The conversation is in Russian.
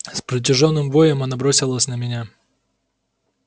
с протяжённым воем она бросилась на меня